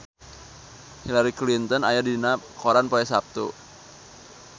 Hillary Clinton aya dina koran poe Saptu